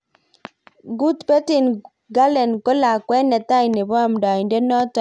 Kutbettin Gulen ko lakwet netaita nebo amndaindet notok kakenam.